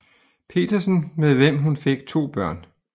Petersen med hvem hun fik to børn